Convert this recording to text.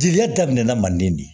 Jeliya daminɛna manden de